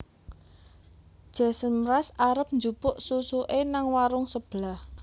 Jason Mraz arep njupuk susuke nang warung sebelah